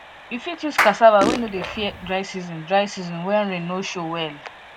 you fit use cassava wey no dey fear dry season dry season when rain no show well